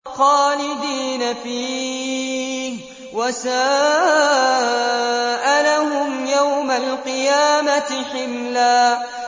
خَالِدِينَ فِيهِ ۖ وَسَاءَ لَهُمْ يَوْمَ الْقِيَامَةِ حِمْلًا